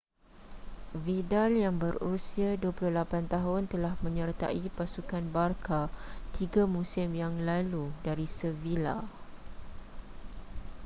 vidal yang berusia 28 tahun telah menyertai pasukan barça tiga musim yang lalu dari sevilla